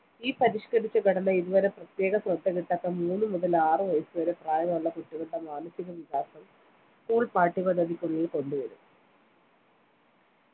ഈ പരിഷ്കരിച്ച ഘടന ഇതുവരെ പ്രത്യേക ശ്രദ്ധകിട്ടാത്ത മൂന്ന് മുതൽ ആറ് വയസ്സ് വരെ പ്രായമുള്ള കുട്ടികളുടെ മാനസികവികാസം school പാഠ്യപദ്ധതിക്കുള്ളിൽ കൊണ്ടുവരും